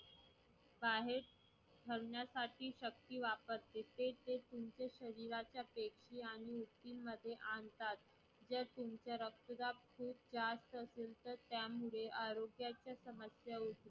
जर तुमचा रक्तदाब जास्त असेल तर त्यामुळे आरोग्याच्या समस्या